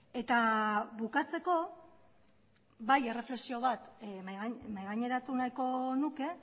eta bukatzeko bai erreflexio bat mahaigaineratu nahiko nuke